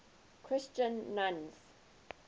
christian nuns